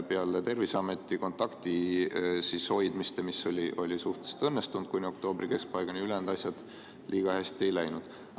Peale Terviseameti kontaktihoidmist, mis oli suhteliselt õnnestunud kuni oktoobri keskpaigani, ülejäänud asjad liiga hästi ei läinud.